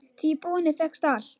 Því í búðinni fékkst allt.